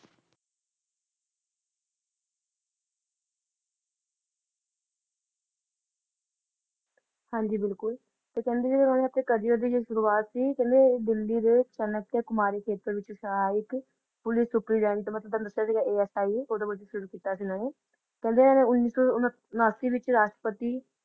ਹਾਂਜੀ ਬਿਲਕੁਲ ਤੇ ਕਹਿੰਦੇ ਜਦੋਂ ਓਹਨਾ ਨੇ ਆਪਣੇ career ਦੀ ਜੋ ਸ਼ੁਰੂਵਾਤ ਸੀ ਕਹਿੰਦੇ ਦਿੱਲੀ ਦੇ ਚਨਕਿਆ ਕੁਮਾਰੀ ਖੇਤਰ ਖੇਤਰ ਵਿੱਚ ਸਹਾਇਕ ਪੁਲਿਸ ਸੁਪਰੀਡੈਂਟ ਤੁਹਾਨੂੰ ਦਸਿਆ ਸੀਗਾ ASI ਓਹਦੇ ਵਜੋਂ ਸ਼ੁਰੂ ਕੀਤਾ ਸੀ ਇਹਨਾਂ ਨੇ ਕਹਿੰਦੇ ਇਹਨਾਂ ਨੇ ਉੱਨੀ ਸੋ ਉਨ ਉਨਾਸੀ ਵਿੱਚ ਰਾਸ਼ਟਰਪਤੀ